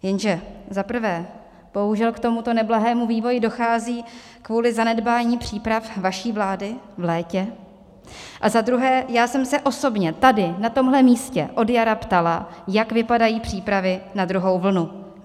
Jenže za prvé bohužel k tomuto neblahému vývoji dochází kvůli zanedbání příprav vaší vlády v létě a za druhé, já jsem se osobně tady na tomhle místě od jara ptala, jak vypadají přípravy na druhou vlnu.